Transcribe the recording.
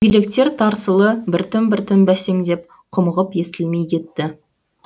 дөңгелектер тарсылы біртін біртін бәсеңдеп құмығып естілмей кетті